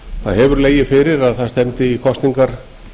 það hefur legið fyrir að það stefndi í kosningar